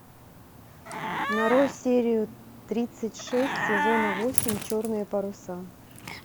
нарой серию тридцать шесть сезона восемь черные паруса